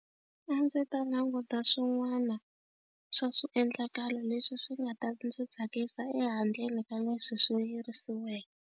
A ndzi ta languta swin'wana swa swiendlakalo leswi swi nga ta ndzi tsakisa ehandleni ka leswi swi yirisiweke.